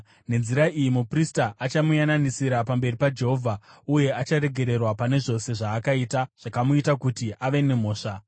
Nenzira iyi muprista achamuyananisira pamberi paJehovha uye acharegererwa pane zvose zvaakaita zvakamuita kuti ave nemhosva.”